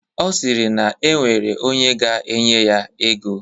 Ọ sịrị na e nwere onye ga-enye ya ego.